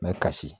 N bɛ kasi